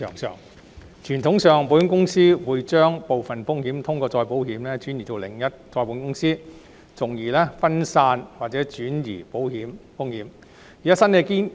傳統上，保險公司會將部分風險通過再保險轉移到另一再保險公司，從而分散或轉移保險風險。